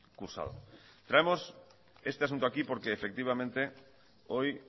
cursado traemos este asunto aquí porque efectivamente hoy